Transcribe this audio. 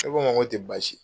Ne k'a ma k'o tɛ baasi ye.